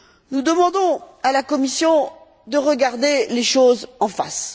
Nous demandons à la Commission de regarder les choses en face.